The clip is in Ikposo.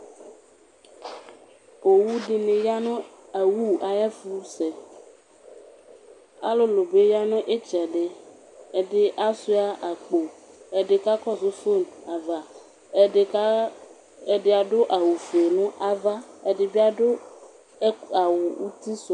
Owʋbeni yanʋ awʋ ayʋ ɛfʋsɛ, alʋlʋ bi yanʋ itsɛdi, ɛdi asuia akpo, ɛdi kakɔsʋ fuey ava, ɛdi adʋ awʋfue nʋ ava ɛdibi adʋ awʋ utisʋ